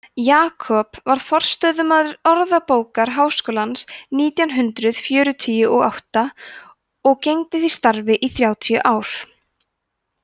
jakob varð forstöðumaður orðabókar háskólans nítján hundrað fjörutíu og átta og gegndi því starfi í þrjátíu ár